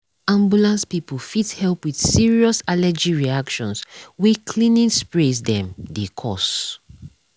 ambulance people fit help with serious allergy reactions wey cleaning sprays them dey cause.